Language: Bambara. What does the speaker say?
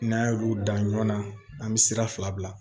N'an y'olu dan ɲɔn na an be sira fila bila